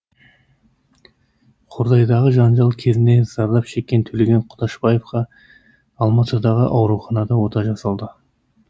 қордайдағы жанжал кезінде зардап шеккен төлеген құдашбаевқа алматыдағы ауруханада ота жасалды